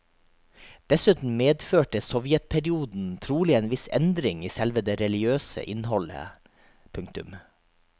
Dessuten medførte sovjetperioden trolig en viss endring i selve det religiøse innholdet. punktum